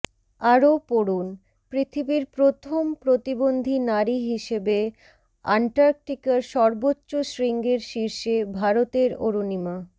আরও পড়ুন পৃথিবীর প্রথম প্রতিবন্ধী নারী হিসেবে অ্যান্টার্কটিকার সর্বোচ্চ শৃঙ্গের শীর্ষে ভারতের অরুণিমা